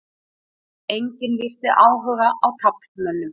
Enginn lýsti áhuga á taflmönnum